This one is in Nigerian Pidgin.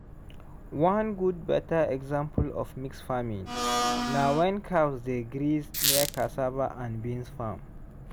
one good better example of mixed farming na when cows dey graze near cassava and beans farm